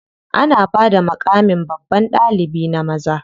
Ana bada maƙamin babban ɗalibi na maza.